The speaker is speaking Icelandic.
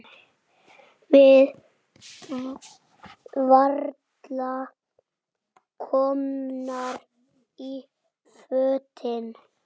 Við varla komnar í fötin.